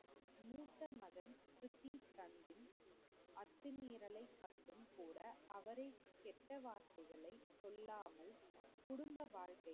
மூத்த மகன் கர்த்தீப்சத்திப் அத்துமீரலை கண்டும் கூட அவரை கெட்ட வார்த்தைகளை சொல்லாமல் குடும்ப வாழ்க்கை